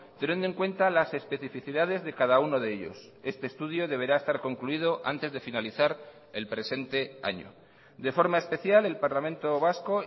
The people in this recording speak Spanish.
teniendo en cuenta las especificidades de cada uno de ellos este estudio deberá estar concluido antes de finalizar el presente año de forma especial el parlamento vasco